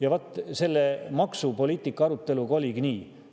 Ja vaat selle maksupoliitika aruteluga oligi nii.